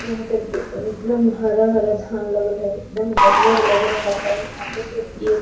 यहाँ पे प एकदम हरा-हरा धान लगल है एकदम हरियर लग रहा है यहाँ पे जो एक --